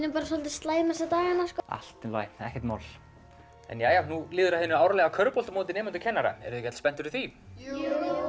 bara soldið slæm þessa dagana allt í lagi ekkert mál nú líður að hinu árlega körfuboltamóti nemenda og kennara eruð þið ekki öll spennt fyrir því jú